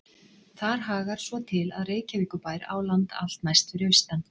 Þar hagar svo til, að Reykjavíkurbær á land allt næst fyrir austan